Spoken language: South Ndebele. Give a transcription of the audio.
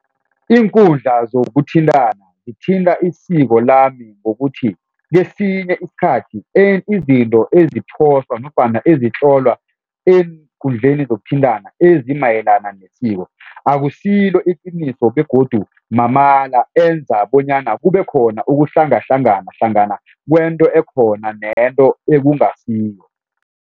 Iinkundla zokuthintana zithinta isiko lami ngokuthi kesinye isikhathi izinto ezophostwa ezitlolwa eenkundleni zokuthintana ezimayelana nesiko akusilo iqiniso begodu mamala enza bonyana kube khona ukuhlangahlangana hlangana kwento ekhona nento ekungasiyo.